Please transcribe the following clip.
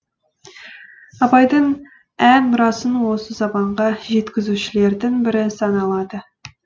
абайдың ән мұрасын осы заманға жеткізушілердің бірі саналады